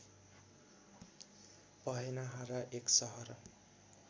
पहेनहारा एक सहर